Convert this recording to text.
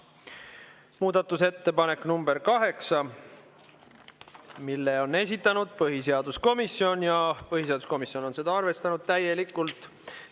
Muudatusettepanek nr 8, mille on esitanud põhiseaduskomisjon ja põhiseaduskomisjon on seda arvestanud täielikult.